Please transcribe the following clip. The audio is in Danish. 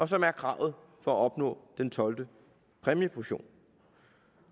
som er kravet for at opnå den tolvte præmieportion